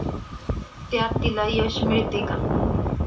त्यात तिला यश मिळते का?